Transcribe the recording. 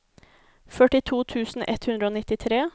førtito tusen ett hundre og nittitre